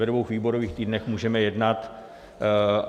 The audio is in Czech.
Ve dvou výborových týdnech můžeme jednat.